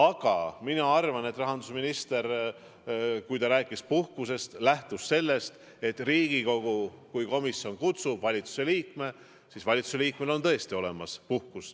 Aga mina arvan, et rahandusminister kui rääkis puhkusest, siis lähtus ta sellest, et kui Riigikogu komisjon kutsub kohale valitsuse liikme, siis valitsuse liikmel on tõesti olemas puhkus.